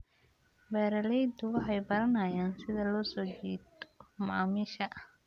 Beeraleydu waxay baranayaan sida loo soo jiito macaamiisha.